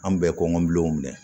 An bɛ kɔngɔbilenw minɛ